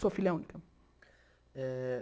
Sou filha única. Eh